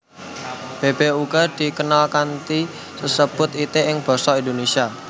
Bèbèk uga dikenal kanthi sesebutan itik ing basa Indonésia